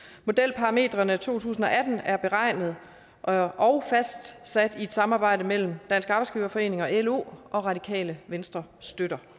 modelparametrene to tusind og atten er beregnet og og fastsat i et samarbejde mellem dansk arbejdsgiverforening og lo og radikale venstre støtter